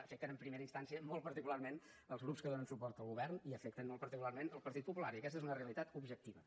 afecten en primera instància molt particularment els grups que donen suport al govern i afecten molt particularment el partit popular i aquesta és una realitat objectiva